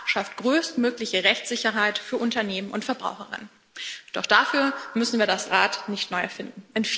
Denn das schafft größtmögliche Rechtssicherheit für Unternehmen und Verbraucherinnen und Verbraucher. Doch dafür müssen wir das Rad nicht neu erfinden.